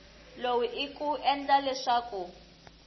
lowu i ku endla leswaku